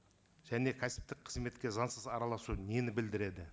және кәсіптік қызметке заңсыз араласу нені білдіреді